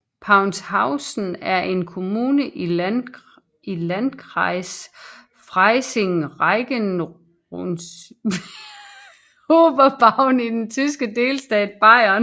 Paunzhausen er en kommune i Landkreis Freising Regierungsbezirk Oberbayern i den tyske delstat Bayern